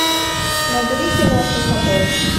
набери кино суходол